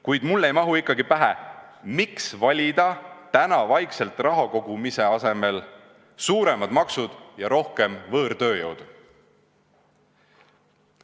Kuid mulle ei mahu ikkagi pähe, miks valida täna vaikselt rahakogumise asemel suuremad maksud ja rohkem võõrtööjõudu.